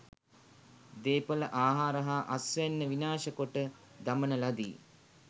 දේපළ ආහාර හා අස්වැන්න විනාශ කොට දමන ලදී.